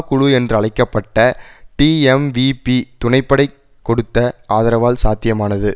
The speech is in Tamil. குழு என்றழைக்க பட்ட டீஎம்விபீ துணை படை கொடுத்த ஆதரவால் சாத்தியமானது